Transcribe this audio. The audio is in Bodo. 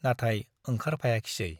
नाथाय ओंखारफायाखिसै ।